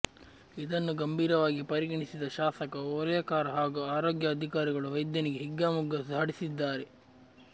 ಇದನ್ನು ಗಂಭೀರವಾಗಿ ಪರಿಗಣಿಸಿದ ಶಾಸಕ ಓಲೇಕಾರ ಹಾಗೂ ಆರೋಗ್ಯ ಅಧಿಕಾರಿಗಳು ವೈದ್ಯನಿಗೆ ಹಿಗ್ಗಾಮುಗ್ಗಾ ಝಾಡಿಸಿದ್ದಾರೆ